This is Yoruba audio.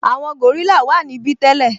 Àwọn gòrílà wà níbí tẹ́lẹ̀